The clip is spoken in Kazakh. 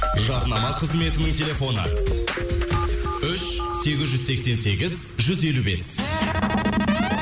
жарнама қызметінің телефоны үш сегіз жүз сексен сегіз жүз елу бес